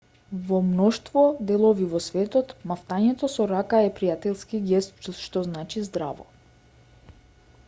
во мноштво делови во светот мавтањето со рака е пријателски гест што значи здраво